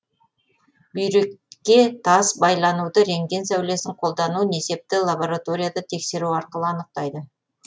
бүйрекке тас байлануды рентген сәулесін қолдану несепті лабораторияда тексеру арқылы анықтайды